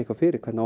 fyrir hvernig